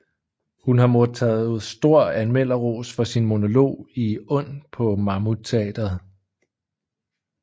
Hun har modtaget stor anmelderros for sin monolog i Und på Mammut Teatret